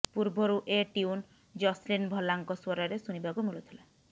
ପୂର୍ବରୁ a tune Jasleen ଭଲ୍ଲାଙ୍କ ସ୍ବରରେ ଶୁଣିବାକୁ ମିଳୁଥିଲା